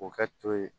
O kɛ to ye